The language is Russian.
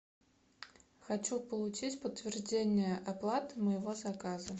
хочу получить подтверждение оплаты моего заказа